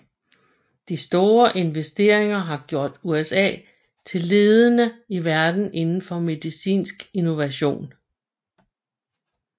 De store investeringer har gjort USA til ledende i verden indenfor medicinsk innovation